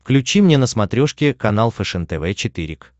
включи мне на смотрешке канал фэшен тв четыре к